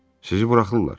Sizi buraxırlar.